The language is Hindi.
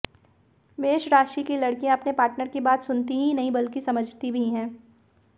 मेष राशि की लड़कियां अपने पार्टनर की बात सुनती ही नहीं बल्कि समझती भी है